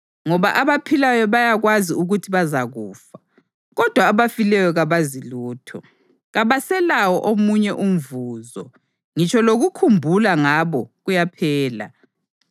Ngoba abaphilayo bayakwazi ukuthi bazakufa, kodwa abafileyo kabazi lutho; kabaselawo omunye umvuzo, ngitsho lokukhumbula ngabo kuyaphela.